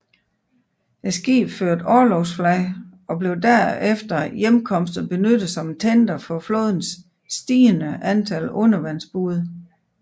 Skibet førte orlogsflag og blev efter hjemkomsten benyttet som en tender for flådens stigende antal undervandsbåde